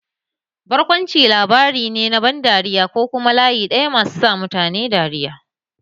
Barkwanci labari ne na ban dariya ko kuma layi ɗaya masu sa mutane dariya.